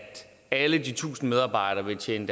alle de tusind medarbejdere vil tjene